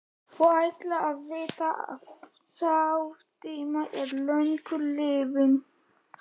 Þú ættir að vita að sá tími er löngu liðinn.